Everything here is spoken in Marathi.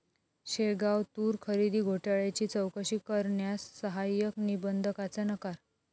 शेगाव तूर खरेदी घोटाळ्याची चौकशी करण्यास सहाय्यक निबंधकाचा नकार